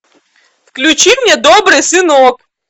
включи мне добрый сынок